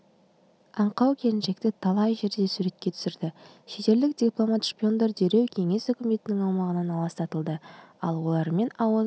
аңқау келіншекті талай жерде суретке түсірді шетелдік дипломат-шпиондар дереу кеңіес үкіметінің аумағынан аластатылды ал олармен ауыз